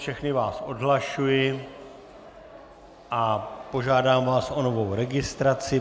Všechny vás odhlašuji a požádám vás o novou registraci.